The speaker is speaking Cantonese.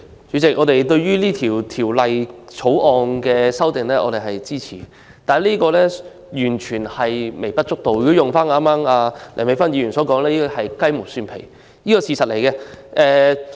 主席，我們支持《2019年選舉法例條例草案》，但這些修訂完全是微不足道，如果套用剛才梁美芬議員的說法，是雞毛蒜皮的修訂。